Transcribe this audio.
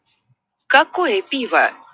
какое пиво